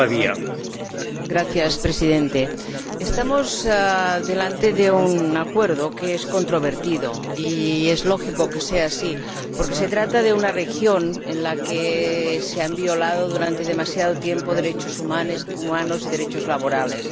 Señor Presidente, estamos ante un Acuerdo que es controvertido, y es lógico que sea así porque se trata de una región en la que se han violado durante demasiado tiempo derechos humanos y derechos laborales.